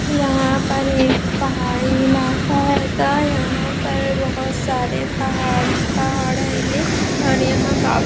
यहाँ पर एक पहाड़ी इलाका है गा यहा पर बहुत सारे पहाड़ ही पहाड़ है गे और यहाँ --